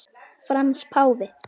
Frans páfi